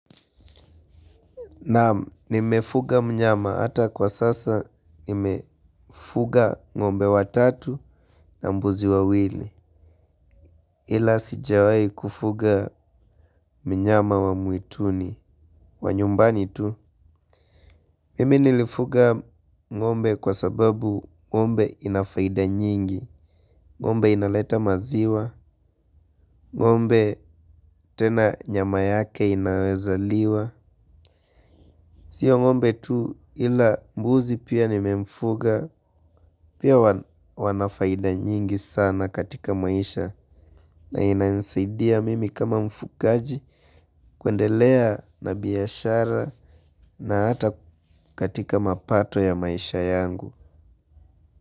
Naam nimefuga mnyama hata kwa sasa nimefuga ng'ombe watatu na mbuzi wawili. Ila sijawahi kufuga mnyama wa mwituni wa nyumbani tu. Mimi nilifuga ng'ombe kwa sababu ngombe ina faida nyingi. Ng'ombe inaleta maziwa, ng'ombe tena nyama yake inaweza liwa. Sio ng'ombe tu ila mbuzi pia nimemfuga pia. Wana faida nyingi sana katika maisha na inanisaidia mimi kama mfugaji kuendelea na biashara na hata katika mapato ya maisha yangu.